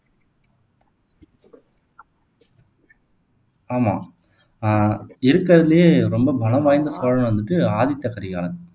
ஆமா ஆஹ் இருக்குறதிலேயே ரொம்ப பலம் வாய்ந்த சோழன் வந்துட்டு ஆதித்த கரிகாலன்